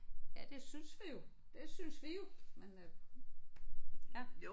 Ja det synes vi jo. Det synes vi jo. Men øh ja